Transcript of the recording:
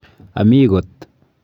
Ami kot.